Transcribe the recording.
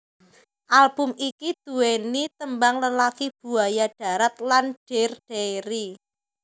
Album iki duweni tembang Lelaki Buaya Darat lan Dear Diary